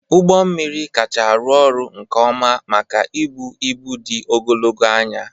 Ụgbọ mmiri kacha arụ ọrụ nke ọma maka ibu ibu dị ogologo anya.